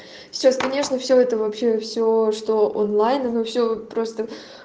сейчас конечно все это вообще все что онлайн оно все просто